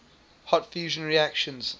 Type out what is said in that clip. hot fusion reactions